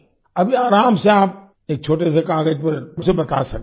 अभी आराम से आप एक छोटे से कागज़ पर उसे बता सकते हैं